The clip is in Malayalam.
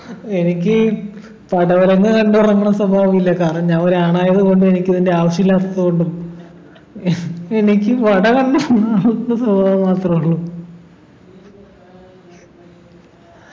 എനിക്കീ പടവലങ്ങ കണ്ടുറങ്ങുണ സ്വഭാവം ഇല്ല കാരണം ഞാൻ ഒരു ആണായതുകൊണ്ട് എനിക്കതിൻ്റെ ആവശ്യമില്ലാത്തതുകൊണ്ടും എനിക്ക് സ്വഭാവം മാത്ര ഉള്ളൂ